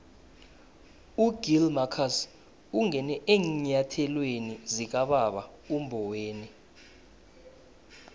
ugill marcus ungene eenyathelweni zikababa umboweni